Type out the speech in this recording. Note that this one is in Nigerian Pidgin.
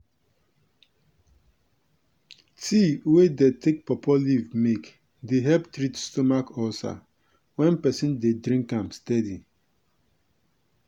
tea wey dem take pawpaw leaf make dey help treat stomach ulcer wen peson dey drink am steady.